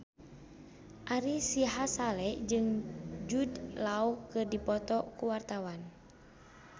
Ari Sihasale jeung Jude Law keur dipoto ku wartawan